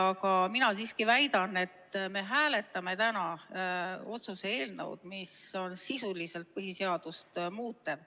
Aga mina siiski väidan, et me hääletame täna otsuse eelnõu, mis on sisuliselt põhiseadust muutev.